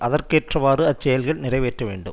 அதற்கேற்றவாறு அச்செயல்கள் நிறைவேற்ற வேண்டும்